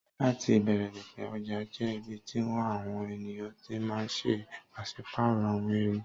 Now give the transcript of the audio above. Láti ìbẹ̀rẹ̀ pẹ̀pẹ̀, ọjà jẹ́ ibi tí àwọn èèyàn ti máà ń ṣe pàsípàrọ̀ àwọn ẹrù